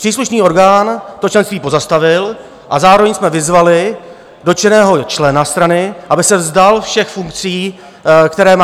Příslušný orgán to členství pozastavil a zároveň jsme vyzvali dotyčného člena strany, aby se vzdal všech funkcí, které má.